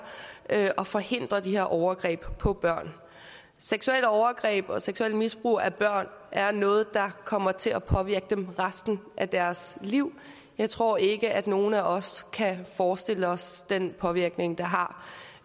at forhindre de her overgreb på børn seksuelle overgreb og seksuelt misbrug af børn er noget der kommer til at påvirke dem resten af deres liv jeg tror ikke at nogen af os kan forestille os den påvirkning det har